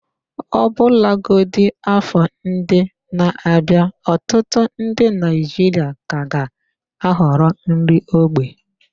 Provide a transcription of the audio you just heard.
Ọbụlagodi afọ ndị na-abịa, ọtụtụ ndị Naijiria ka ga-ahọrọ nri ógbè.